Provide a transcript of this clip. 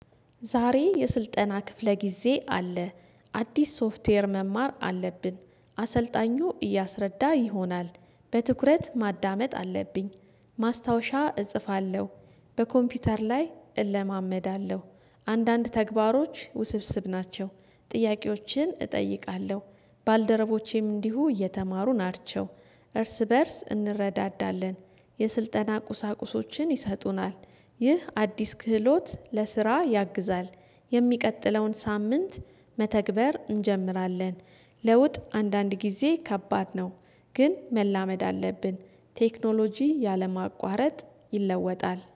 ዛሬ የስልጠና ክፍለ ጊዜ አለ አዲስ ሶፍትዌር መማር አለብን። አሰልጣኙ እያስረዳ ይሆናል በትኩረት ማዳመጥ አለብኝ ማስታወሻ እጽፋለሁ በኮምፒውተር ላይ እለማመዳለሁ አንዳንድ ተግባሮች ውስብስብ ናቸው ጥያቄዎችን እጠይቃለሁ ባልደረቦቼም እንዲሁ እየተማሩ ናቸው እርስ በእርስ እንረዳዳለን የስልጠና ቁሳቁሶችን ይሰጡናል ይህ አዲስ ክህሎት ለስራ ያግዛል የሚቀጥለውን ሳምንት መተግበር እንጀምራለን ለውጥ አንዳንድ ጊዜ ከባድ ነው ግን መላመድ አለብን ቴክኖሎጂ ያለ ማቋረጥ ይለወጣል